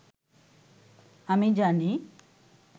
“আমি জানি